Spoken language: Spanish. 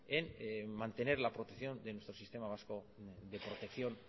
en mantener la protección de nuestro sistema vasco de protección